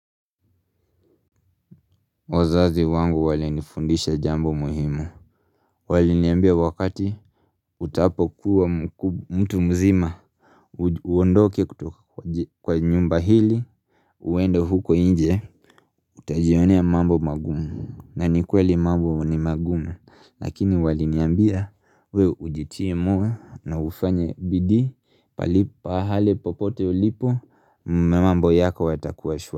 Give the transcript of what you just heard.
Wazazi wangu walinifundisha jambo muhimu Waliniambia wakati utapokuwa mtu mzima Uondoke kwa nyumba hili uende huko nje Utajionea mambo magumu na nikweli mambo ni magumu, Lakini waliniambia wewe ujitie na ufanye bidii Pahali popote ulipo mambo yako yatakuwa shwari.